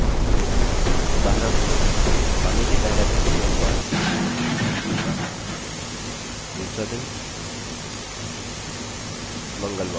उदाहरणस्वरूप मानिए कि पहला दिन सोमवार है दूसरा दिन मंगलवार है और इसी तरह